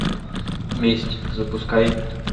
месть запускай